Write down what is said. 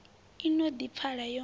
i no ḓi pfala yo